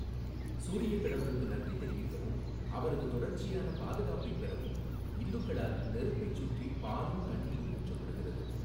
சூரியக் கடவுளுக்கு நன்றி தெரிவிக்கவும், அவரது தொடர்ச்சியான பாதுகாப்பைப் பெறவும் இந்துக்களால் நெருப்பைச் சுற்றி பாலும் தண்ணீரும் ஊற்றப்படுகிறது.